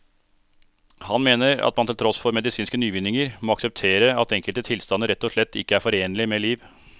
Han mener at man til tross for medisinske nyvinninger må akseptere at enkelte tilstander rett og slett ikke er forenlig med liv.